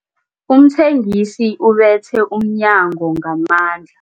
Umthengisi ubethe umnyango ngamandla.